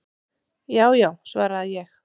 """Já já, svara ég."""